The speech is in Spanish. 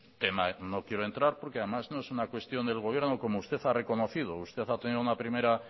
tema no quiero entrar porque además no es una cuestión del gobierno como usted ha reconocido usted ha tenido una primera